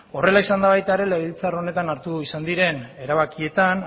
horrela izan da baita ere legebiltzar honetan hartu izan diren erabakietan